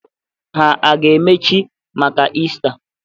Ha a ga-emechi maka Iista?